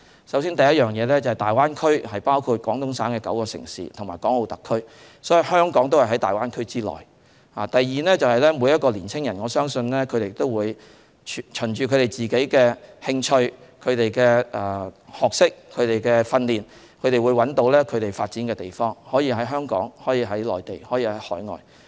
首先，大灣區包括廣東省9個城市和港澳特區，所以香港亦是在大灣區內；第二，我相信每個年青人都會循自己的興趣、學識和訓練，找到他們可以發展的地方，這可以是香港，可以是內地，可以是海外。